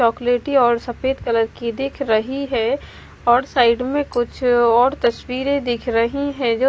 चॉकलेटी और सफेद कलर की दिख रही है और साइड में कुछ और तस्वीरें दिख रही हैं जो--